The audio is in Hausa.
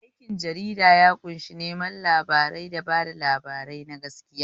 Aikin jarida ya ƙunshi neman labarai da bada labarai na gaskiya.